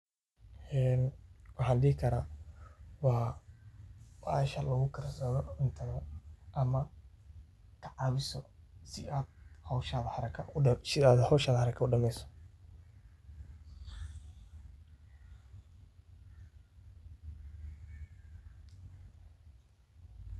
Een waxan dihii kara waa bahaasha laguu kaarsadso cuntaada ama cawiiso sii aad howshaan haraka sii aad howshaan haraka uu dhaameyso